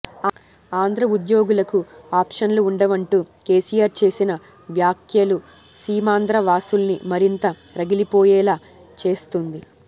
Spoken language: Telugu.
ఆంధ్ర ఉద్యోగులకు ఆప్షన్లు ఉండవంటూ కేసీఆర్ చేసిన వ్యాఖ్యలు సీమాంధ్ర వాసుల్ని మరింత రగిలిపోయేలా చేస్తుంది